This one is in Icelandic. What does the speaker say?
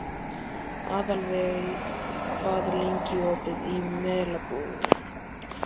Aðalveig, hvað er lengi opið í Melabúðinni?